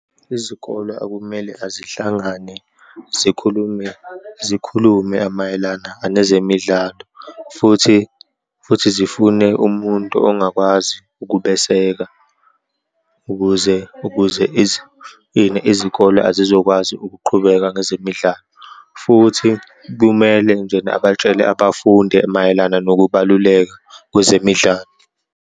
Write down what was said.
Izikole akumele azihlangane, zikhulume, zikhulume mayelana anezemidlalo, futhi, futhi zifune umuntu ongakwazi ukubeseka, ukuze, ukuze ini, izikole azizokwazi ukuqhubeka ngezemidlalo, futhi kumele njena abatshele abafundi mayelana nokubaluleka kwezemidlalo.